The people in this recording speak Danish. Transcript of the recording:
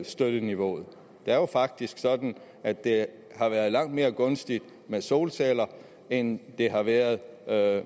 støtteniveauet det er jo faktisk sådan at det har været langt mere gunstigt med solceller end det har været